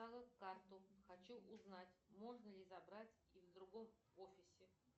карту хочу узнать можно ли забрать и в другом офисе